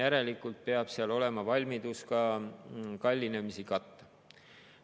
Järelikult peab seal olema valmidus ka kallinemist katta.